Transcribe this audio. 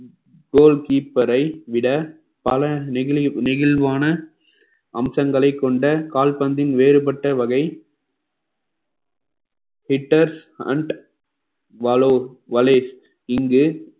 கோல் keeper ஐ விட பல நெகிழி நெகிழ்வான அம்சங்களைக் கொண்ட கால்பந்தின் வேறுபட்ட வகை இங்கு